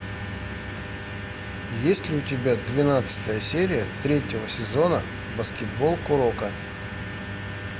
есть ли у тебя двенадцатая серия третьего сезона баскетбол куроко